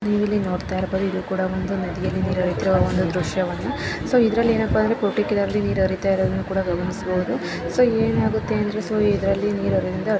ಇಲ್ಲಿ ನೀವು ನೋಡ್ತಾ ಇರಬಹುದು ನದಿಯಲ್ಲಿ ನೀರು ಹರಿತ್ತಿರುವ ದೃಶ್ಯವನ್ನ ಸೋ ಇದ್ರಲ್ಲಿ ಏನಪ್ಪ ಅಂದರೆ ಪರ್ತಿಕೂಲರ್ಲಿ ನೀರು ಹರಿಯುತ್ತಿರುವದನ್ನು ಗಮನಿಸಬಹುದು ಸೋ ಏನಾಗುತ್ತೆ ಅಂದರೆ ಇದ್ರಲ್ಲಿ ನೀರು ಇರುವುದರಿಂದ--